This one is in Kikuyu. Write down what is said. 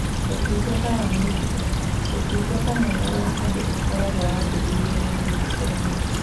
Ũtungata wa mũndũ ũmwe: Ũtungata mwega wa andũ ũkoragwo wambĩrĩirie na mũndũ ũmwe.